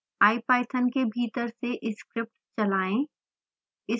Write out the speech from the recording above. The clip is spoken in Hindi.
ipython के भीतर से स्क्रिप्ट चलाएं